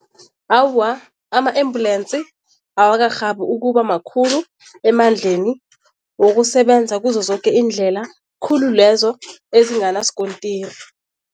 Awa, ama-embulensi awakarhabi ukuba makhulu emandleni wokusebenza kuzo zoke iindlela, khulu lezo ezinganasikontiri.